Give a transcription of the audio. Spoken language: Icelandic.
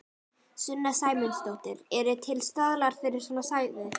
Sunna Sæmundsdóttir: Eru til staðlar fyrir svona svæði?